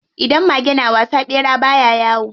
Idan mage na wasa, ɓera baya yawo.